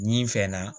Nin fɛn na